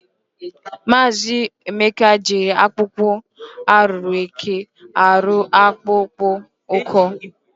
Maazi Emeka jiri akpokpo aru eke ahu ruo akpokpo ukwu.